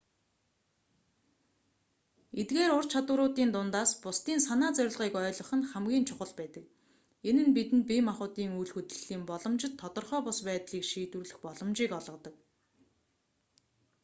эдгээр ур чадваруудын дундаас бусдын санаа зорилгыг ойлгох нь хамгийн чухал байдаг энэ нь бидэнд бие махбодын үйл хөдлөлийн боломжит тодорхой бус байдлыг шийдвэрлэх боломжийг олгодог